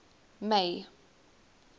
may